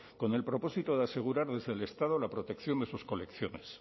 con el propósito de asegurarles el estado la protección de sus colecciones